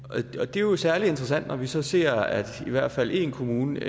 det er jo særlig interessant når vi så ser at i hvert fald én kommune